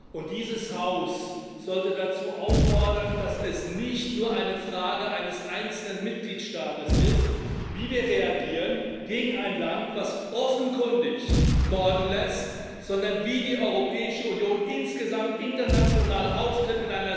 Und dieses Haus sollte dazu auffordern, dass es nicht nur eine Frage eines einzelnen Mitgliedstaates ist, wie wir reagieren gegen ein Land, das offenkundig morden lässt, sondern dass die Europäische Union insgesamt in einer solchen Situation international auftritt.